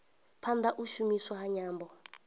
phanda u shumiswa ha nyambo